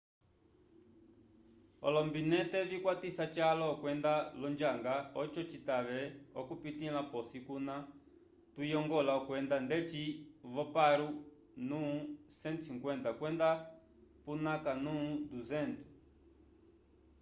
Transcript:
olombinete vikwatisa calwa okwenda l’onjanga oco citave okupitῖla posi kuna tuyongola okwenda ndeci vo paro nu 150 kwenda punakha nu 200